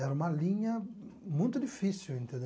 Era uma linha muito difícil, entendeu?